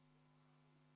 V a h e a e g